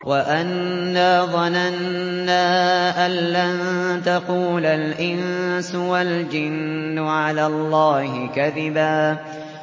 وَأَنَّا ظَنَنَّا أَن لَّن تَقُولَ الْإِنسُ وَالْجِنُّ عَلَى اللَّهِ كَذِبًا